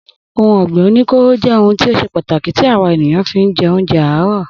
Ohun ọ̀gbìn oní kóóró jẹ́ ohun tí o ṣe pàtàkì tí àwa ènìyàn fi ń jẹ oúnjẹ àárọ̀